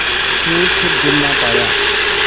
के फिर जुड़ ना पाया